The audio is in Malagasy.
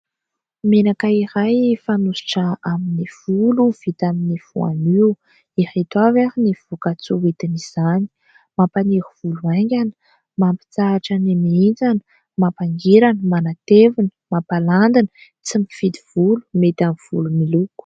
Menaka iray fanosotra amin'ny volo vita amin'ny voanio, ireto avy ary ny voka-tsoa hoentin'izany. Mampaniry volo haingana, mampitsahatra ny mihintsana, mampangirana, manatevina, mampalandina, tsy mifidy volo mety amin'ny volo miloko.